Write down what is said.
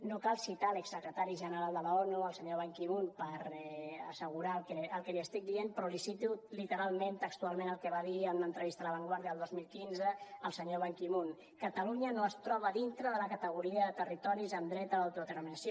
no cal citar l’ex secretari general de l’onu el senyor ban ki moon per assegurar el que li estic dient però li cito literalment textualment el que va dir en una entrevista a la vanguardiaban ki moon catalunya no es troba dintre de la categoria de territoris amb dret a l’autodeterminació